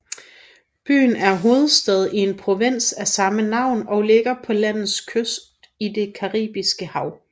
Byen er hovedstad i en provins af samme navn og ligger på landets kyst til det Caribiske hav